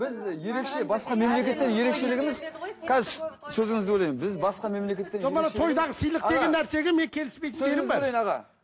қазір сөзіңізді бөлейін біз басқа мемлекеттен ерекшелігіміз